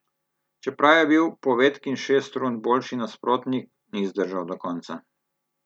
Čeprav je bil Povetkin šest rund boljši nasprotnik, ni zdržal do konca.